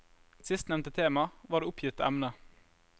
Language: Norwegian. Sistnevnte tema var det oppgitte emne.